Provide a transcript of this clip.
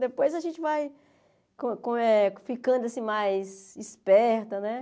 Depois a gente vai co co eh ficando assim mais esperta, né?